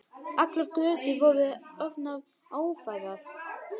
Allar götur voru orðnar ófærar.